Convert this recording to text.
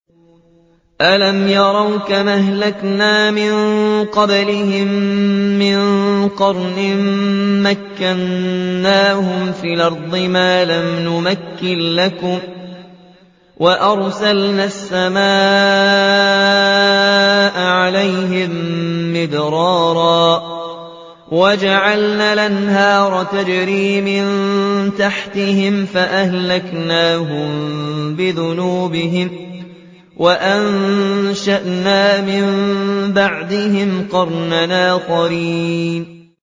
أَلَمْ يَرَوْا كَمْ أَهْلَكْنَا مِن قَبْلِهِم مِّن قَرْنٍ مَّكَّنَّاهُمْ فِي الْأَرْضِ مَا لَمْ نُمَكِّن لَّكُمْ وَأَرْسَلْنَا السَّمَاءَ عَلَيْهِم مِّدْرَارًا وَجَعَلْنَا الْأَنْهَارَ تَجْرِي مِن تَحْتِهِمْ فَأَهْلَكْنَاهُم بِذُنُوبِهِمْ وَأَنشَأْنَا مِن بَعْدِهِمْ قَرْنًا آخَرِينَ